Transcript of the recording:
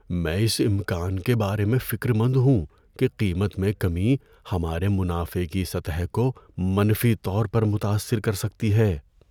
میں اس امکان کے بارے میں فکر مند ہوں کہ قیمت میں کمی ہمارے منافع کی سطح کو منفی طور پر متاثر کر سکتی ہے۔